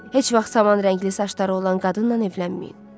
Heç vaxt saman rəngli saçları olan qadınla evlənməyin.